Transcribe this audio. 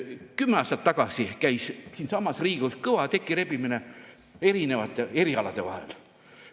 Kümme aastat tagasi käis siinsamas Riigikogus kõva tekirebimine erinevate erialade vahel.